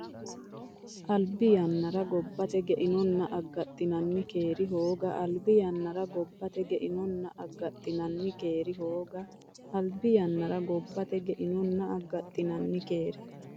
Albi yannara gobbate geinonna aggaxxinanni keeri hooga Albi yannara gobbate geinonna aggaxxinanni keeri hooga Albi yannara gobbate geinonna aggaxxinanni keeri.